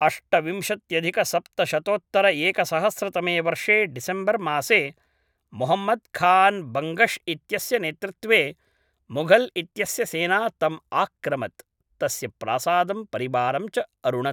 अष्टविंशत्यधिकसप्तशतोत्तरएकसहस्रतमे वर्षे डिसेम्बर्मासे मुहम्मद् खान् बङ्गश् इत्यस्य नेतृत्वे मुगल् इत्यस्य सेना तम् आक्रामत्, तस्य प्रासादं परिवारं च अरुणत्